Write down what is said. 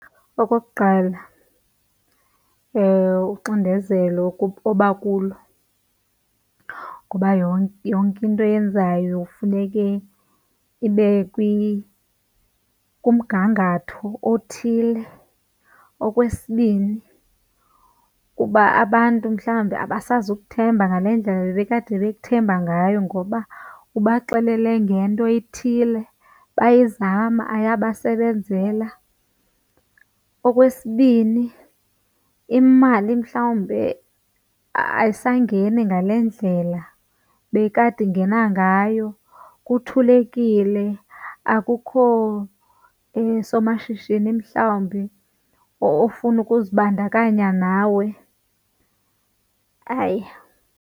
Okokuqala uxindezelo oba kulo ngoba yonke into oyenzayo funeke ibe kumgangatho othile. Okwesibini ukuba abantu mhlawumbi abasazikuthemba ngale ndlela bebekade bekuthemba ngayo ngoba ubaxelele ngento ethile bayizama, ayabasebenzela. Okwesibini imali mhlawumbe ayisangeni ngale ndlela bekade ingena ngayo kuthulekile, akukho somashishini mhlawumbi ofuna ukuzibandakanya nawe.